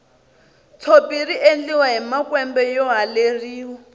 tshopi riendliwa hi makwembe yo haleriwa